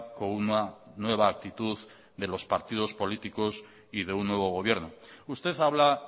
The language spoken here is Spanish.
con una nueva actitud de los partidos políticos y de un nuevo gobierno usted habla